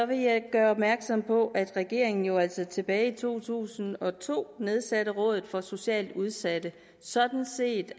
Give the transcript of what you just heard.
vil jeg gøre opmærksom på at regeringen jo altså tilbage i to tusind og to nedsatte rådet for socialt udsatte sådan set